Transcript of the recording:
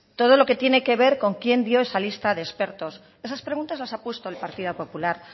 todo lo que tiene que ver con quién dio esa lista de expertos esas preguntas las ha puesto el partido popular